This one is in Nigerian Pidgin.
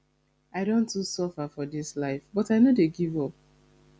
i don too suffer for dis life but i no dey give up